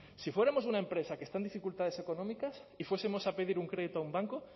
si fuéramos una empresa que está en dificultades económicas y fuesemos a pedir un crédito a un banco